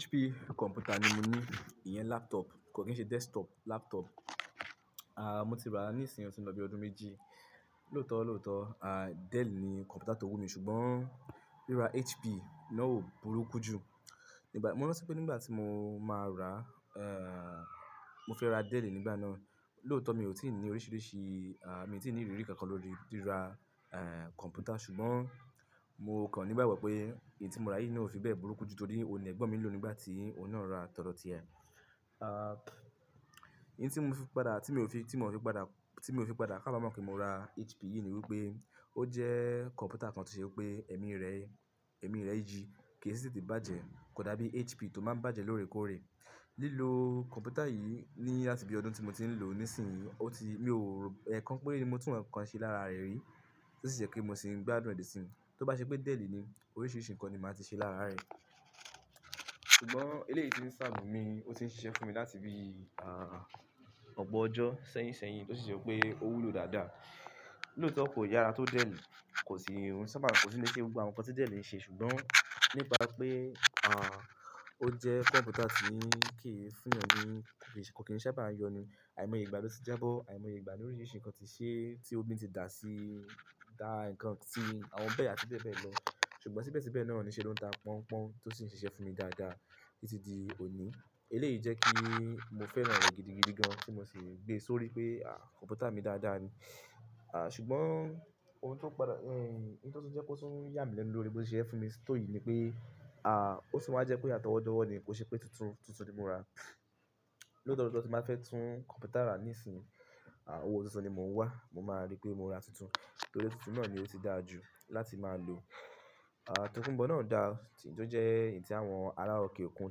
HP kọ̀mpútà ni mo ní, ìyẹn laptop, kò kí ń ṣe desktop laptop. Ah mo ti rà á ní ìsìn ọtin lọ bí ọdún méjì. Lóòótọ́ lóòótọ́, ah Dell ni kọ̀mpútà tó wù mí ṣùgbọ́n ríra HP náà ò burúkú jú. Nígbà. Mo rántí pé nígbà tí mo máa rà á, eh mo fẹ́ ra Dell nígbà náà. Lóòótọ́ mi ò tí ì ní oríṣiríṣi. Ah mi tí ì ní ìrírí kan kan lórí ríra eh kọ̀mpútà ṣùgbọ́n mo kàn nígbàgbo pé èyí tí mo rà yìí na ò fi bẹ́ẹ̀ burúkú jú torí ó ni ẹ̀gbọ́n mi lò nígbà tí ó ná ra tọdọ̀ọ́ ti ẹ. Ah in tí n mo fi padà, tí mi ò fi, tí mo fi padà, tí mi ò fi padà ká ba mọ̀ pé mo ra HP yìí ni wípé ó jẹ́ kọ̀mpútà kan tí o se pé ẹ̀mí rẹ́, ẹ̀mí rẹ́ yìí kì í sì tètè bàjẹ́ kò dàbí HP tó máa ń bàjẹ́ lóòrèkóòrè. Lílo kọ̀mpútà yìí ní láti bí ọdún tí mo ti ń lò ó ní ìsìn yìí, ó ti mio, ẹ kan pére ni mo tún ǹkan ṣe lára rẹ̀ rí tí ó sì je pé mo sì ń gbádùn rẹ̀ dì sín. Tó bá ṣe pé Dell ni, oríṣiríṣi nǹkan ni màá ti ṣe lára rẹ̀. Ṣùgbọ́n eléyìí ti ń serve mi, ó tì ń ṣiṣẹ́ fún mi láti bí ah ọ̀pọ̀ ọjọ́ sẹ́yínṣẹ́yìn tó sì je pé ó wúlò dáadáa. Lóòótọ́ kò yára tó Dell, kò sì rún. Sábà kò sì lé ṣe gbogbo àwọn nǹkan tí Dell ń ṣe ṣùgbọ́n nípa pé ah ó jẹ́ kọ̀mpútà tí kì í fún èèyàn ní ì, kò kí ń sábà yọnu, àìmọye ìgbà ló ti jábọ́, àìmọye ìgbà ní oríṣiríṣi nǹkan tí ṣe tí ómi tí dà sí, dà nǹkan sí àwọn bẹ́ẹ̀ àti bẹ́ẹ̀ bẹ́ẹ̀ lọ. Ṣùgbọ́n síbẹ̀síbẹ̀ náà ní ṣe ló ń tá pọ́npon tó sì ń ṣiṣẹ́ fún mi dáadáa títí di òní. Eléyìí jẹ́ kí mo fẹ́ràn rẹ̀ gidigidi gan-an tí mo sì gbé sórí pé ah kọ̀mpútà mi dáadáa ni. Ah ṣùgbọ́n ohun tí ó padà. Eh nto tun jẹ́ kó tún yà mí lẹ́nu lórí bó ṣe siṣe fún mi tòyì ni pé ah ó tun wáa jẹ́ pé àtọ̀wọ́ dọ̀wo ni kò ṣe pé tuntun tuntun ni mo rà. Lóòtọ́ lọ́oto tí n bàá fẹ́ tún kọ̀mpútà rà ní ìsìn, ah owó tuntun ni mò ń wá. Mo máa rí pé mo rà tuntun torí tuntun náà ni ó ti dà ju láti máa lò. Ah tokunbọ̀ náà dà tọ jẹ́ ǹti àwọn ará òkè òkun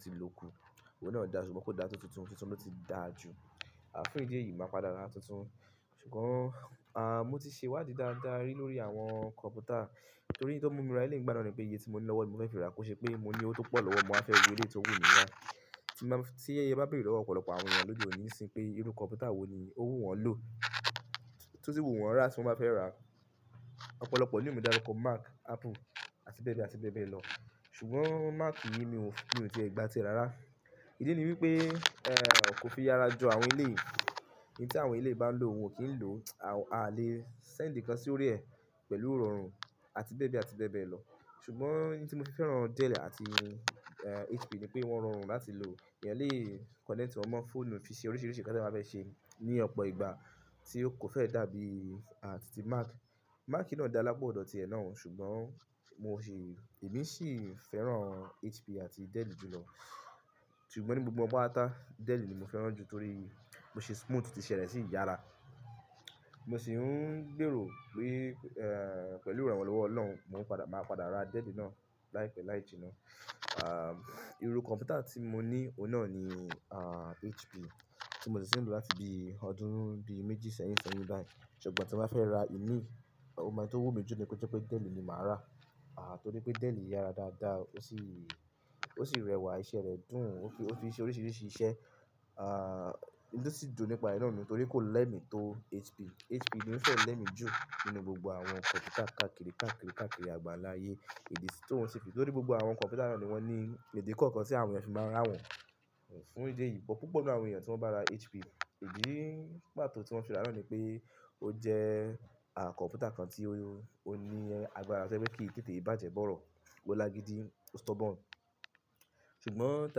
ti lò kù. Ohun náà dà ṣùgbọ́n kò dà tó tuntun tuntun ló ti dà ju. Ah fún ìdí èyí, màá padà ra tuntun. Ṣùgbọ́n ah mo ti ṣe iwádìí dáadáa rí lórí àwọn kọ̀mpútà torí n tó mu mi rà eleyi ngbà náà ni pé iye tí mo ní lọ́wọ́ ni mo fẹ́ fi rà kò ṣe pé mo ní owó tó pọ̀ lọ mọ́ wàfẹ́ wo eléyìí tó wù mí rá. Tí n baa. Tí e bá bèrè lọ́wọ́ ọ̀pọ̀lọpọ̀ àwọn èèyàn lọ́de òní ń sin pé irú kọ̀mpútà wo ni ó wù wọ́n lò, tó sì wù wọ́n rà tí wọ́n bá fẹ́ rà, ọ̀pọ̀lọpọ̀ ní o maa darúkọ Mac, Apple àti bẹ́ẹ̀ bẹ́ẹ̀ àti bẹ́ẹ̀ bẹ́ẹ̀ lọ. Ṣùgbọ́n Mac yìí mio mio ti e gba ti e ra rà. Ìdí ni wípé eh kò fi ára jo àwọn elé yìí. Ìn tí àwọn elé yìí bá ń lò ó, oun o kí ń lò. A lè send nǹkan sí orí ẹ pẹ̀lú irọ́run àti bẹ́ẹ̀ bẹ́ẹ̀ àti bẹ́ẹ̀ bẹ́ẹ̀ lọ. Ṣùgbọ́n ìn tí mo fi fẹ́ràn Dell àti eh HP ni pé wọ́n rọrùn láti lò. Eẹyan lè connect wọn ma fọ́ọ̀nù fi ṣe oríṣiríṣi nǹkan tí eeyan bá fẹ́ ṣe ní ọ̀pọ̀ ìgbà tí ó kò fẹ́ dàbí à ti tí Mac. Mac náà dà lápa ọ́dọ̀ ti ẹ náà ṣùgbọ́n mo sì, èmi sì fẹ́ràn HP àti Dell jù lọ. Ṣùgbọ́n ní gbogbo won patápata, Dell ni mo fẹ́ràn jù torí bó ṣe smooth, ti iṣe rẹ̀ sì yára. Mo sì ń gbèrò pé eh pẹ̀lú ìrànwọ́ lọ́wọ́ ọ̀loun, mò ń padà, màá padà ra Dell náà láìpẹ́ láìjì náà. Ah irú kọ̀mpútà tí mo ní, òun náà ni ah HP tí mo ti sì ń lò láti bí ọdún bí méjì sẹ́yìn sẹ́yìn bai. Ṣùgbọ́n tí n bàá fẹ́ ra ìmí, o mo n tó wù mí jù ni ko jẹ́ pé Dell ni màá rà. Ah torí pé Dell yára dáadáa, ó sì, ó sì rẹwà, iṣẹ́ rẹ̀ dùn, ó fi, ó fi ṣe oríṣiríṣi iṣẹ́. Ah ntó sì dùn nípa rẹ̀ náà ni torí kò lẹ́mi tó HP. HP ni ó fẹ́ lẹ́mi jù nínú gbogbo àwọn kọ̀mpútà káàkiri káàkiri káàkiri àgbànlá ayé. Ìdí tó ń ṣ fi torí gbogbo àwọn kọ̀mpútà náà ni wọ́n ní idi kọ̀ọ̀kan tí àwọn èèyàn fì máa ń rà wọ́n. Fún ìdí èyí, púpọ̀ nínú àwọn èèyàn tí wọ́n bá ra HP, ìdí pàtó tí wọ́n fi rà náà ni pé ó jẹ́ ah kọ̀mpútà kan tí ó ní agbára to jẹ́ pé kí teté bàjẹ́ bọ́rọ̀, ó lágidi, ó stubborn. Ṣùgbọ́n ta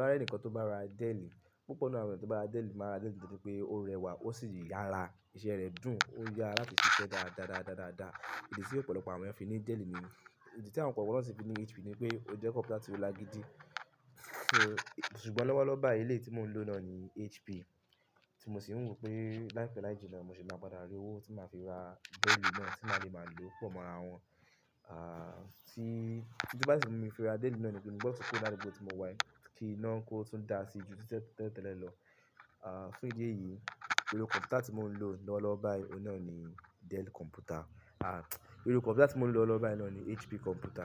bá ri ẹni kan tó bá ra Dell, púpọ̀ nínú àwọn èèyàn tó bá ra Dell máa rà Dell nítorí pé ó rẹwà ó sì yára, iṣẹ́ rẹ̀ dùn, ó yára láti ṣe iṣẹ́ dáadáadáadáadáà. Ìdí tí ọ̀pọ̀lọpọ̀ àwọn èèyàn fi ní Dell ni. Ìdí tí àwọn ko kan na sì fi ní HP ni pé ó jẹ́ kọ̀mpútà tó lágidi. Ṣùgbọ́n lọ́wọ́lọ́wọ́ báyìí eléyìí tí mò ń lò náà ni HP tí mo sì ń wò pé láìpẹ́ láìjì náà mo sì máa padà rí owó tí màá fi ra Dell náà tí màá lè máa lò pọ̀ mọ́ ràwọn. Ah tí. Tí tó bá ti mu mi fi ra Dell náà ni pé mo gbọ́ kuró ladugbó tí mo wàyí ki iná kò tún dà si ju tí tẹ́le tẹ́lẹ̀ lọ. Ah fún ìdí èyí, irú kọ̀mpútà tí mò ń lò lọ́wọ́lọ́wọ́ báyìí, òun náà ni Dell kọ̀mpútà. Ah irú kọ̀mpútà tí mò ń lò lọ́wọ́lọ́wọ́ báyìí náà ni HP kọ̀mpútà.